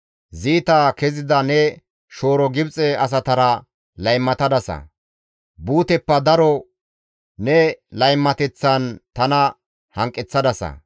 Ziita kezida ne shooro Gibxe asatara laymatadasa; buuteppe daro ne laymateththan tana hanqeththadasa.